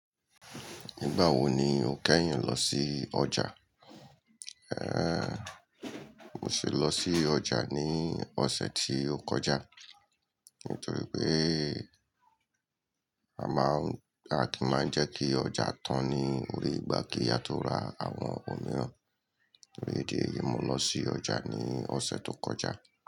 Nígbà wo ni o kẹ́yìn lọ sí ọjà? Mo sì lọ sí ọjà ní ọ̀sẹ̀ tí ó kọjá. Nítorí pé a máa ń, a kì máa ń jẹ́ kí ọjà tán ní ore ìgbà kí a tó ra àwọn ohun mìíràn. Ore edé yìí, mo lọ sí ọjà ní ọ̀sẹ̀ tó kọjá.